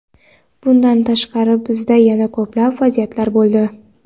Bundan tashqari bizda yana ko‘plab vaziyatlar bo‘ldi.